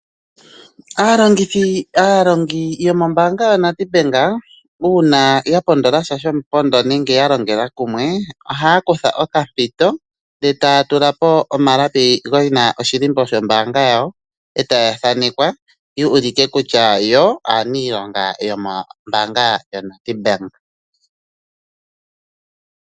Aalongithi, aalongi yomombaanga yaNEDBANK uuna ya pondola sha shomupondo nenge ya longela kumwe, ohaya kutha okampito ndele taya tula po omalapi ge na oshilimbo shombaanga yawo e taya thaanekwa opo ya ulike kutya yo aaniilonga yomombaanga yaNEDBANK.